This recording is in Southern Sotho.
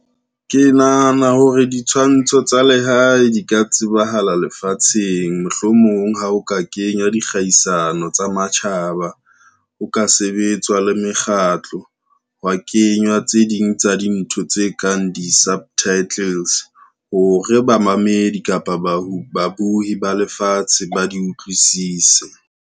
Ke nahana hore ditshwantsho tsa lehae di ka tsebahala lefatsheng mohlomong ha o ka kenya dikgaisano tsa matjhaba, ho ka sebetswa le mekgatlo, hwa kenywa tse ding tsa dintho tse kang di-subtitles hore bamamedi kapa ba babuhi ba lefatshe ba di utlwisise.